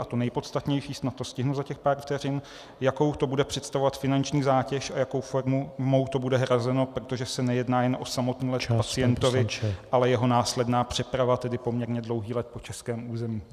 A to nejpodstatnější, snad to stihnu za těch pár vteřin: Jakou to bude představovat finanční zátěž a jakou formou to bude hrazeno, protože se nejedná jen o samotný let k pacientovi , ale jeho následnou přepravu, tedy poměrně dlouhý let po českém území.